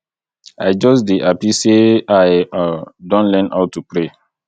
i just dey happy say i um don learn how to pray